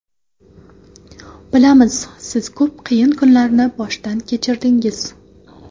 Bilamiz, siz ko‘p qiyin kunlarni boshdan kechirdingiz.